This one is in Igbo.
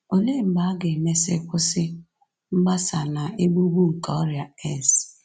Olee mgbe a ga-emesị kwụsị mgbasa na-egbu egbu nke ọrịa AIDS?